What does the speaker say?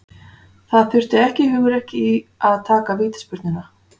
Það þurfti ekkert hugrekki í að taka vítaspyrnuna.